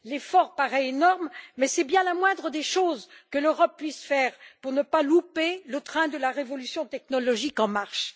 L'effort paraît énorme, mais c'est bien la moindre des choses que l'Europe puisse faire pour ne pas louper le train de la révolution technologique en marche.